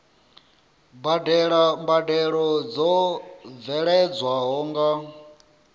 badela mbadelo dzo bveledzwaho nga